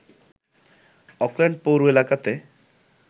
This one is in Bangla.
অকল্যান্ড পৌর এলাকাতে